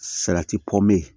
Salati pe